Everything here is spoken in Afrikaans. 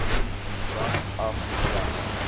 brand af weg